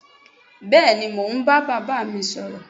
bẹẹni mọ ń ba bàbá mí sọrọ